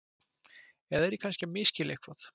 Eða er ég kannski að misskilja eitthvað?